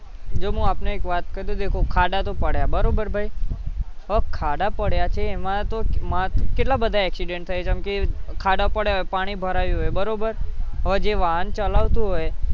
જોને આપણને એક વાત કરું ખાડા તો પડ્યા બરોબર ભાઈ હવે ખાડા પડ્યા છે એમાં તો કેટલા બધા accident થાય છે આમ કે ખાડા પડ્યા હોય પાણી ભરાયું હોય બરોબર હવે જે વાહન ચલાવતું હોય